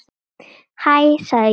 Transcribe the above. Hæ sagði ég.